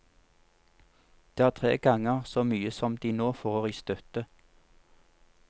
Det er tre ganger så mye som de nå får i støtte.